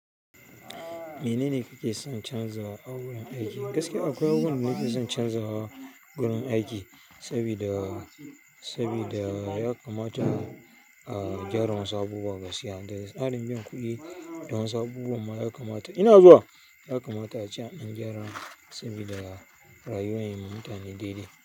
Menene kake son canzawa a wurin aiki? Gaskiya akwai wani abu nake son canzawa wurin aiki sabida, sabida ya kamata, ah, a gyara wasu abubuwa gaskiya. Da tsarin biyan kuɗi da wasu abubuwa ma ya kamata. Ina zuwa ya kamata a ce an ɗan gyara sabida rayuwar mu mutane daidai.